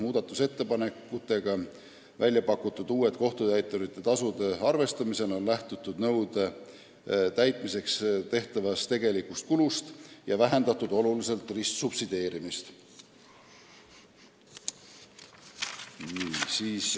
Muudatusettepanekutega välja pakutud kohtutäiturite tasude arvestamisel on lähtutud nõude täitmiseks tehtavast tegelikust kulust, oluliselt on vähendatud ristsubsideerimist.